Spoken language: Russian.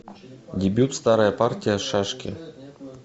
дебют старая партия шашки